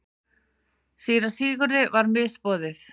Síra Sigurði var misboðið.